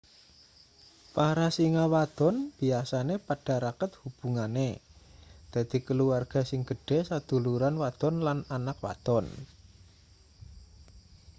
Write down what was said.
para singa wadon biasane padha raket hubungane dadi kulawarga sing gedhe saduluran wadon lan anak wadon